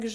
G